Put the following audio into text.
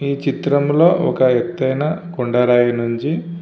ఈ చిత్రంలో ఒక ఎత్తైన కొండరాయి నుండి --